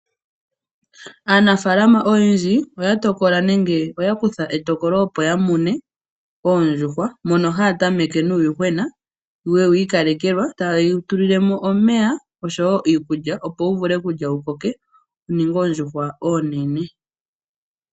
Aanafaalama oyendji oya tokola nenge oya kutha etokolo opo yamune oondjuhwa, mono haya tameke nuuyuhwena , yewu ikalekela, taye wu tulilemo omeya oshowoo iikulya opo wu vule okulya wukoke wuninge oondjuhwa oonene.